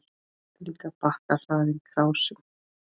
Líka bakka hlaðinn krásum.